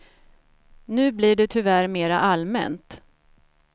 Nu blir det tyvärr mera allmänt.